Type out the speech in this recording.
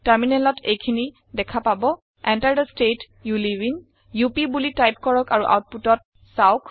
টাৰমিনেলত এইখিনি দেখা পাব Enter the state you live in up বুলি টাইপ কৰক আৰু আওতপুতত চাওক